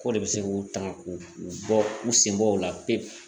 K'o de bɛ se k'o ta k'o u bɔ u senbɔ o la pewu